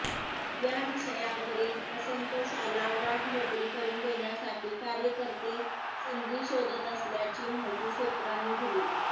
या विषयावरील असंतोषाला वाट मोकळी करून देण्यासाठी कार्यकर्ते संधी शोधत असल्याची माहिती सूत्रांनी दिली